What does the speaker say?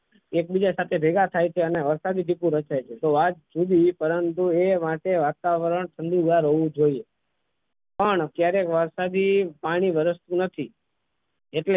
એકબીજા સાથે ભેગા થાય છે અને વરસાદી માહોલ રચે છે તો વાત જુદી પરંતુ એ માટે વાતાવરણ ઠંડુ ઘર હોવું જોઈએ પણ જ્યારે વરસાદી પાણી વરસતું નથી એટલે